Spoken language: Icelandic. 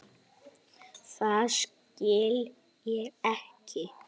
Það skil ég ekki.